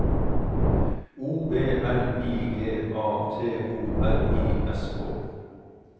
O B L I G A T O R I S K